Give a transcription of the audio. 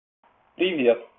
привет